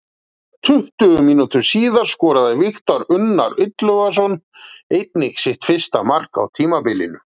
Tuttugu mínútum síðar skoraði Viktor Unnar Illugason einnig sitt fyrsta mark á tímabilinu.